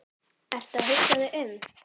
Ertu að hugsa þig um?